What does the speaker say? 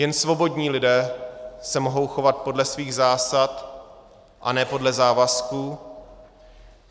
Jen svobodní lidé se mohou chovat podle svých zásad a ne podle závazků.